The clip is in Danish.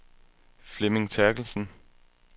Flemming Therkelsen